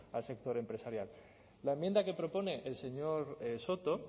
al sector empresarial la enmienda que propone el señor soto